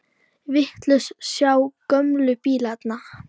Viltu sjá gömlu bílana?